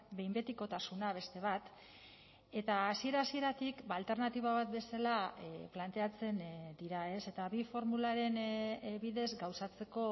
behin betikotasuna beste bat eta hasiera hasieratik alternatiba bat bezala planteatzen dira eta bi formularen bidez gauzatzeko